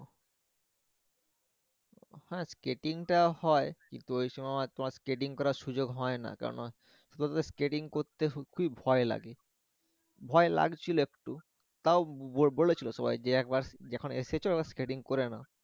হ্যা skating টা হয় কিন্তু ওই সময় তোমার skating করার সুযোগ হয় না কেননা শুধু skating করতে করতে সত্যি ভয় লাগে ভয় লাগছিলো একটু তাও বলেছিলো সবাই যে একবার যখন এসেছো skating করে নাও।